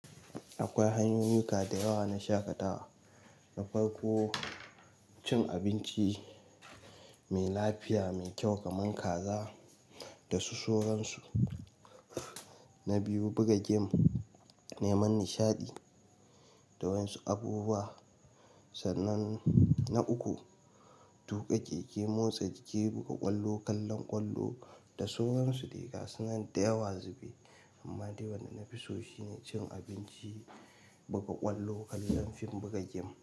Akwai hanyoyi ka da yawa na shaƙatawa, na farko cin abinci mai lafiya mai kyau kaman kaza da su sauransu. Na biyu buga geme, neman nishaɗi da waƴansu abubuwa sannan na uku, tuƙa keke, motsa jiki, buga ƙwallon, kallon ƙwallon da sauran su de gasunan dayawa zube amma dai wanda na fi so shine cin abinci, buga ƙwallo, kallon fim buga geme.